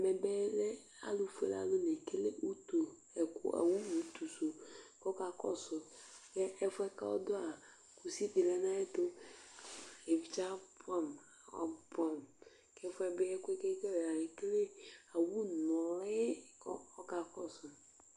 ɛmɛ bi lɛ alo fuele alo la ekele utu ɛkò owu utu su kò ɔka kɔsu k'ɛfuɛ k'ɔdu yɛ kusi di lɛ n'ayi ɛto evidze aboɛ amo aboɛ amo k'ɛfu yɛ bi ɛkoɛ k'ekele ekele owu noli k'ɔka kɔsu